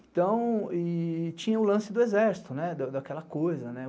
Então, tinha o lance do exército, daquela coisa.